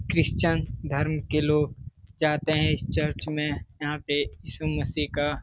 Christian धर्म के लोग जाते हैं इस चर्च में। यहाँ पे ईशा मसीह का --